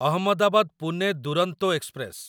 Ahmedabad Pune Duronto express